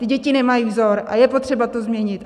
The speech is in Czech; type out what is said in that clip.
Ty děti nemají vzor a je potřeba to změnit.